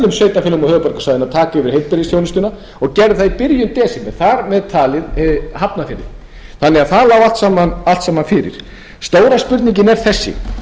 yfirtaka heilbrigðisþjónustuna og gerði það í byrjun desember þar með talið í hafnarfirði það lá allt saman fyrir stóra spurningin er þessi